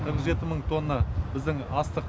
қырық жеті мың тонна біздің астық